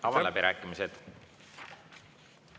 Avan läbirääkimised.